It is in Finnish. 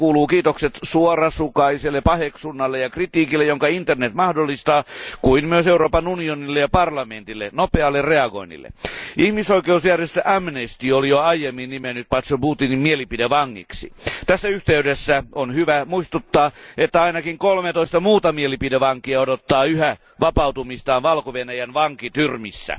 Tästä kuuluvat kiitokset niin suorasukaiselle paheksunnalle ja kritiikille, jonka internet mahdollistaa, kuin myös Euroopan unionille ja parlamentille sekä nopealle reagoinnille. Ihmisoikeusjärjestö Amnesty oli jo aiemmin nimennyt Poczobutin mielipidevangiksi. Tässä yhteydessä on hyvä muistuttaa, että ainakin 13 muuta mielipidevankia odottaa yhä vapautumistaan Valko Venäjän vankityrmissä.